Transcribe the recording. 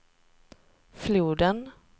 floden